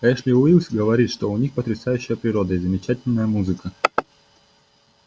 эшли уилкс говорит что у них потрясающая природа и замечательная музыка